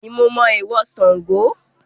Bẹ́ẹ̀ni mo mọ èèwọ̀ Sango